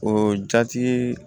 O jati